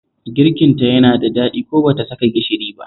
Girkinta yana da daɗi ko ba ta saka gishiri ba